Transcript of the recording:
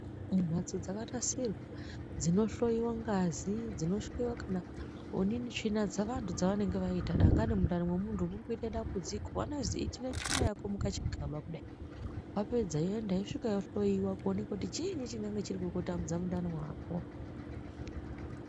Mumhatso dzakanasirwa dzinohloiwa ngazi dzinohloiwa kana onini tsvina dzevantu dzevanenge vaita dangani mundani memuntu muri kuite dambudziko vanozi itire tsvina yako mukachigaba kudai. Vapedza yoenda yosvika vohloiwa kuona kuti chiinyi chinenge chiri kukutambudza mundani mwako.